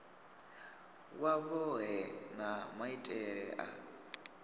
wa vhohe na maitele a